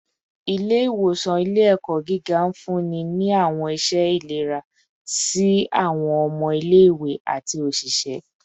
Ile-iwosan ile-ẹkọ giga nfunni ni awọn iṣẹ ilera si awọn ọmọ ile-iwe ati oṣiṣẹ